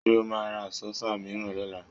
Ṣé o máa ra Àsọ́fà mìíràn lọ́la?